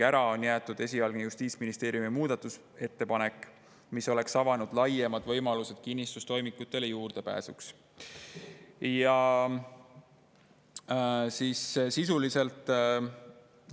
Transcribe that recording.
Ära oli jäetud esialgne Justiitsministeeriumi muudatusettepanek, mis oleks avanud laiemad võimalused juurdepääsuks kinnistustoimikutele.